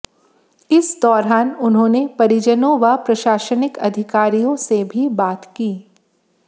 इस दौरान उन्होंने परिजनों व प्रशासनिक अधिकारियों से भी बात की